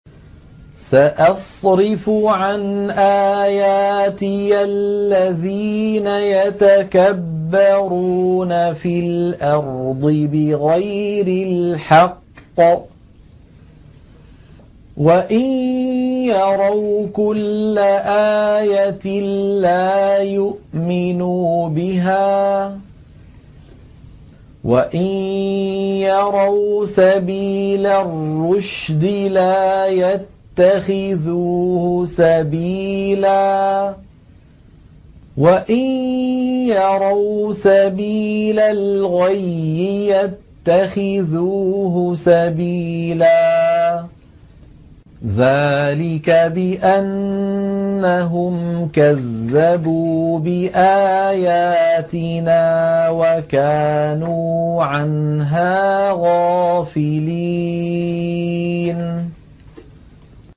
سَأَصْرِفُ عَنْ آيَاتِيَ الَّذِينَ يَتَكَبَّرُونَ فِي الْأَرْضِ بِغَيْرِ الْحَقِّ وَإِن يَرَوْا كُلَّ آيَةٍ لَّا يُؤْمِنُوا بِهَا وَإِن يَرَوْا سَبِيلَ الرُّشْدِ لَا يَتَّخِذُوهُ سَبِيلًا وَإِن يَرَوْا سَبِيلَ الْغَيِّ يَتَّخِذُوهُ سَبِيلًا ۚ ذَٰلِكَ بِأَنَّهُمْ كَذَّبُوا بِآيَاتِنَا وَكَانُوا عَنْهَا غَافِلِينَ